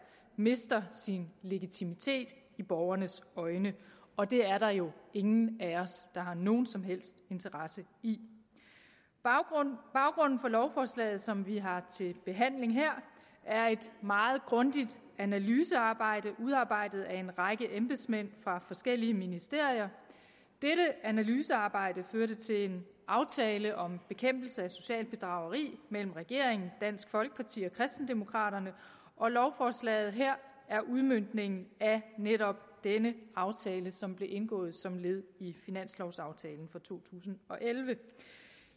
mister sin legitimitet i borgernes øjne og det er der jo ingen af os der har nogen som helst interesse i baggrunden for lovforslaget som vi har til behandling her er et meget grundigt analysearbejde udarbejdet af en række embedsmænd fra forskellige ministerier dette analysearbejde førte til en aftale om bekæmpelse af socialt bedrageri mellem regeringen dansk folkeparti og kristendemokraterne og lovforslaget her er udmøntningen af netop denne aftale som blev indgået som led i finanslovaftalen for to tusind og elleve